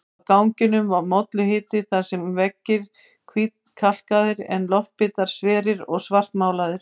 Á ganginum var molluhiti, þar voru veggir hvítkalkaðir en loftbitar sverir og svartmálaðir.